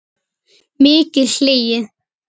Mikið hlegið.